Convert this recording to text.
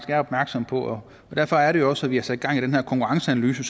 er opmærksomme på derfor er det jo også at vi har sat gang i den her konkurrenceanalyse